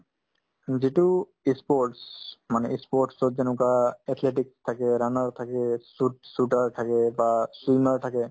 যিটো ই sports মানে ই sports ত যেনেকুৱা athletic থাকে runner থাকে shoot~ shooter থাকে বা swimmer থাকে